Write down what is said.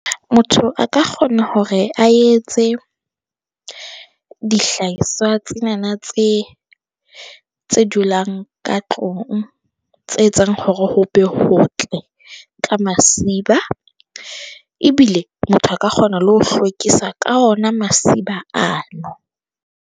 Motho a ka kgona hore a etse dihlahiswa tse na na, tse tse dulang ka tlung, tse etsang hore ho be ho tle ka masiba. Ebile motho a ka kgona le ho hlwekisa ka ona masiba ano.